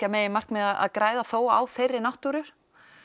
að meginmarkmiði að græða á þeirri náttúru